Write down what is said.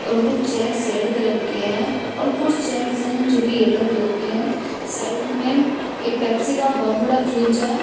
और कुछ chairs red colour के हैं और कुछ चेयर्स हैं जोकि येलो कलर के हैं साइड्स में एक पेप्सी का बहोत बड़ा फ्रिज है।